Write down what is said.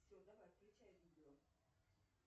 все давай включай видео